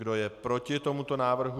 Kdo je proti tomuto návrhu?